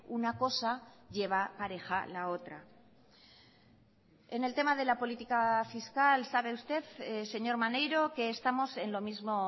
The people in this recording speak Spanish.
una cosa lleva pareja la otra en el tema de la política fiscal sabe usted señor maneiro que estamos en lo mismo